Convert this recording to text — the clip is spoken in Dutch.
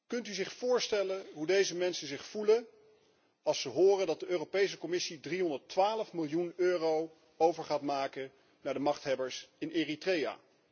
Kunt u zich voorstellen hoe deze mensen zich voelen als ze horen dat de Europese Commissie 312 miljoen euro gaat overmaken aan de machthebbers in Eritrea?